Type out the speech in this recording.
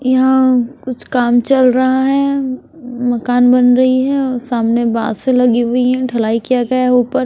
यहां कुछ काम चल रहा है मकान बन रही है ओ सामने बासे लगी हुई है ढलाई किया गया है ऊपर--